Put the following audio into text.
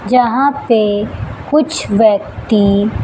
यहां पे कुछ व्यक्ति--